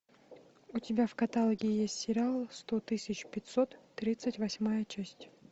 у тебя в каталоге есть сериал сто тысяч пятьсот тридцать восьмая часть